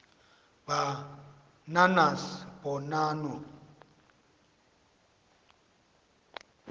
ba nanas bonanno